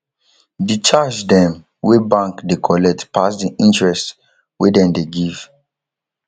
di charge dem wey bank dey collect pass di interest wey dem dey give